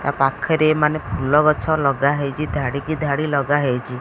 ତା ପାଖରେ ମାନେ ଫୁଲ ଗଛ ଲଗାହେଇଚି ଧଡ଼ିକି ଧାଡ଼ି ଲଗା ହେଇଚି।